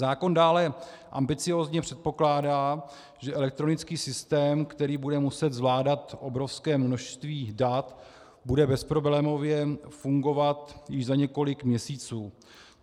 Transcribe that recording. Zákon dále ambiciózně předpokládá, že elektronický systém, který bude muset zvládat obrovské množství dat, bude bezproblémově fungovat již za několik měsíců.